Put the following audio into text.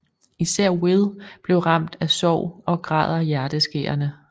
Især Will bliver ramt af sorg og græder hjerteskærende